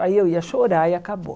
Aí eu ia chorar e acabou.